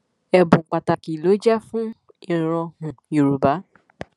ẹbùn pàtàkì ló jẹ fún ìran um yorùbá